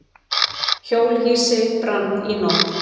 Hjólhýsi brann í nótt